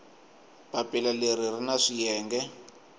papila leri ri na swiyenge